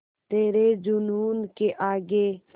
तेरे जूनून के आगे